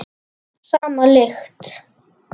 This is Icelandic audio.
Sama lykt.